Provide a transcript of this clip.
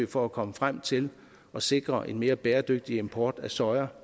for at komme frem til at sikre en mere bæredygtig import af soja